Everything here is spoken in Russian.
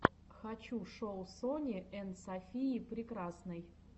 хочу шоу сони энд софии прекрасной